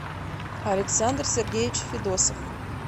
александр сергеевич федосов